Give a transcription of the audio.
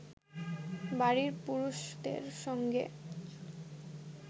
বাড়ির পুরুষদের সঙ্গে